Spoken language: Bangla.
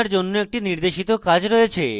আপনার জন্য একটি নির্দেশিত কাজ রয়েছে